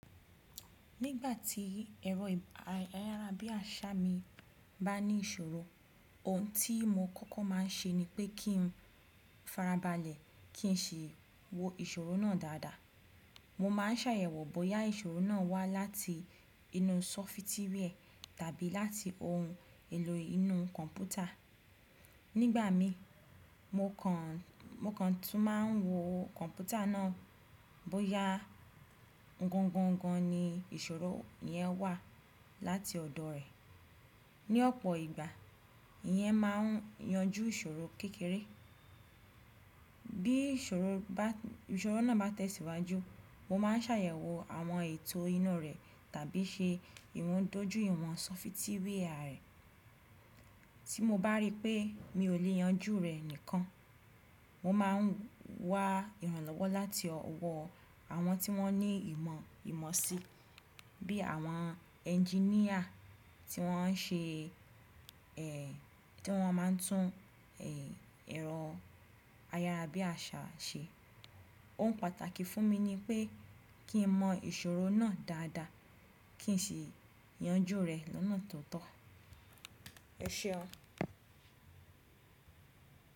Nígbà tí ẹ̀rọ ayárabíàṣá mi bá ní ìṣòro, ohun tí mo kọ́kọ́ máa ń ṣe ni pé kí n farabalẹ̀ kí n sì wo ìṣòro náà dáadáa. Mo máa ń ṣàyẹ̀wò bóyá ìṣòro náà wá láti inú sọfitíwẹ́ẹ̀ tàbí láti ohun èlò inú kọ̀npútà. Nígbà mí, mo kàn tún máa ń wo kọ̀npútà náà bóyá o un gangan ni ìṣòro yẹn wá láti ọ̀dọ̀ rẹ̀. Ni ọ̀pọ̀ ìgbà, ìyẹn máa ń yanjú ìṣòro kékeré. Bí ìṣòro náà bá tẹ̀síwájú, mo máa ń ṣàyẹ̀wò àwọn ètò inú rẹ̀ tàbí ṣe ìwọ́n dojú ìwọ̀n sọfitíwẹ́ẹ̀ rẹ̀. Tí mo bá rí pé mi ò lè yanjú rẹ̀ nìkan, mo máa ń wá ìrànlọ́wọ́ láti ọwọ́ àwọn tí wọ́n ní ìmọ̀ ìmọ̀ si bí i àwọn ẹnginíà tí wọ́n máa ń tún ẹ̀rọ ayárabíàṣá ṣe. Ohun pàtàkì fún mi ni pé kí n mọ ìṣòro náà dáadáa kí n sì yanjú rẹ̀ lọ́nà tó tọ́.